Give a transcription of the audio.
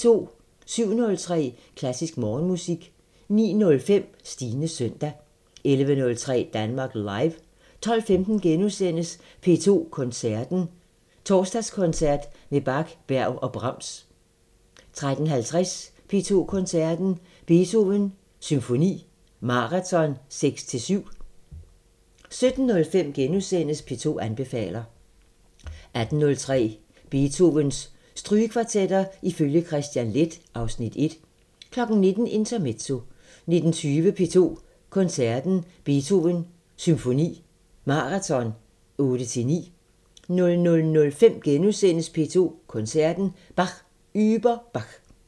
07:03: Klassisk Morgenmusik 09:05: Stines søndag 11:03: Danmark Live 12:15: P2 Koncerten – Torsdagskoncert med Bach, Berg og Brahms * 13:50: P2 Koncerten – Beethoven Symfoni Maraton 6-7 17:05: P2 anbefaler * 18:03: Beethovens Strygekvartetter ifølge Kristian Leth (Afs. 1) 19:00: Intermezzo 19:20: P2 Koncerten – Beethoven Symfoni Maraton 8-9 00:05: P2 Koncerten – Bach über Bach *